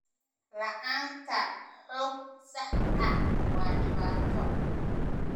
La'aanta xog sax ah waa dhibaato.